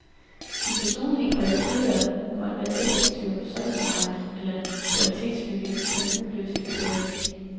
De personlige kvaliteter som at være effektiv, serviceminded eller kvalitetsbevidst kan udløse et tillæg.